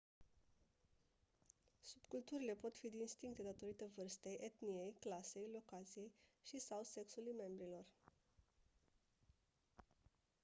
subculturile pot fi distincte datorită vârstei etniei clasei locației și/sau sexului membrilor